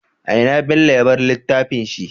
Ina bello ya bar littafin shi?